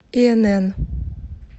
инн